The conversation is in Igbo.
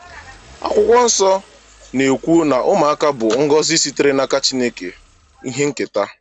Akwụkwọ Nsọ na-ekwu na ụmụaka bụ ngọzi sitere n’aka Chineke, “ihe nketa.”